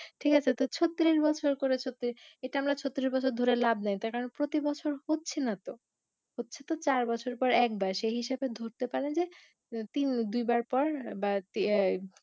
ঠিক আছে তো ছত্রিশ বছর করে ছত্রি~ এইটা আমরা ছত্রিশ বছর ধরে লাভ নাই তার কারণ প্রতি বছর হচ্ছে না তো হচ্ছে তো চার বছর পর একবার সেই হিসেবে ধরতে পারা যায় তিন দুই বার পর বা তি~ য়া